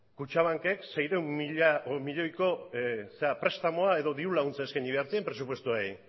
kutxabankek seiehun milioiko zera prestamua edo diru laguntza eskaini behar zien presupuestoei